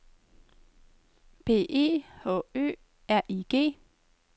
B E H Ø R I G